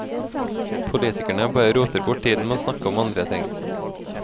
Politikerne bare roter bort tiden med å snakke om andre ting.